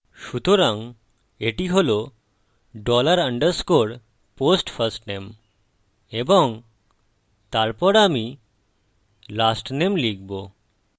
সুতরাং এটি হল dollar underscore post firstname এবং তারপর আমি lastname লিখব